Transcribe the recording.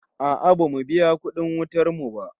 No, we haven't paid our electricity bill yet